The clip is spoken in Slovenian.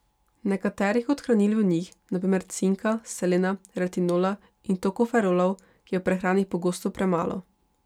Nekaterih od hranil v njih, na primer cinka, selena, retinola in tokoferolov, je v prehrani pogosto premalo.